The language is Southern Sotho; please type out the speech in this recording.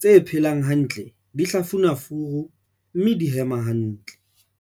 Tse phelang hantle di hlafuna furu, mme di hema hantle.